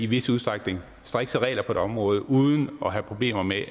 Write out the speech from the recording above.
vis udstrækning har strikse regler på et område uden at have problemer med